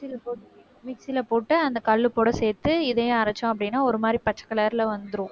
mixie ல போட்~ mixie ல போட்டு அந்த கல்லு கூட சேர்த்து இதையும் அரைச்சோம் அப்படின்னா ஒரு மாதிரி பச்சை color ல வந்துரும்